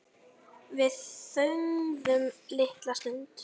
Við þögðum litla stund.